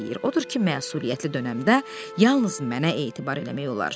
Odur ki, məsuliyyətli dönəmdə yalnız mənə etibar eləmək olar.